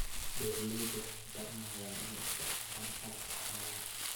Beeraleydu waxay baranayaan inay u isticmaalaan calafka xoolaha.